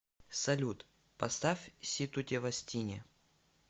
салют поставь си ту те вас тини